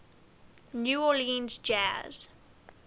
new orleans jazz